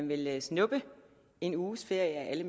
vil snuppe en uges ferie